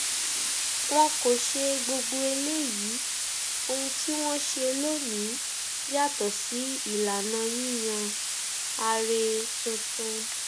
wọn kò ṣe gbogbo eléyìí ohun tí wọn ṣe lónìín yàtọ sí ìlànà yíyan aree tuntun